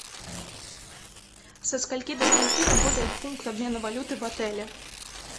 со скольки до скольки работает пункт обмена валюты в отеле